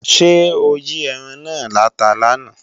Ṣé ó yí ẹran náà láta làná